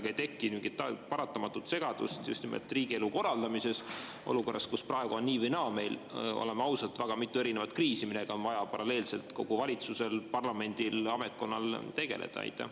Kas sellega ei teki paratamatult segadust just nimelt riigielu korraldamises olukorras, kus praegu on meil nii või naa, oleme ausad, väga mitu erinevat kriisi, millega on vaja paralleelselt kogu valitsusel, parlamendil, ametkondadel tegeleda?